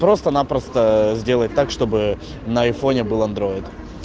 просто-напросто сделать так чтобы на айфоне был андроид